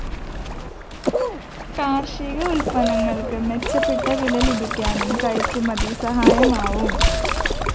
കാര്‍ഷിക ഉല്‍പ്പന്നങ്ങള്‍ക്ക് മെച്ചപ്പെട്ട വില ലഭിക്കാനും കയറ്റുമതി സഹായമാവും